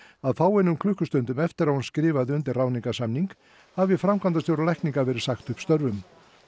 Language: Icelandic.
að fáeinum klukkustundum eftir að hún skrifaði undir ráðningarsamning hafi framkvæmdastjóra lækninga verið sagt upp störfum